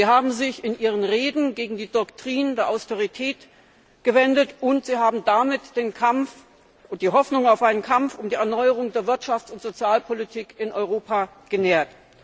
Sie haben sich in Ihren Reden gegen die Doktrin der Austerität gewendet und damit die Hoffnung auf einen Kampf um die Erneuerung der Wirtschafts und Sozialpolitik in Europa genährt.